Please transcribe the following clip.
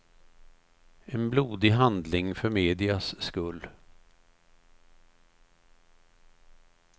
En blodig handling för medias skull.